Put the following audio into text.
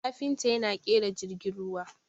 kafinta yana kera jirgin ruwa